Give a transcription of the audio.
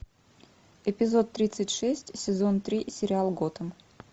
эпизод тридцать шесть сезон три сериал готэм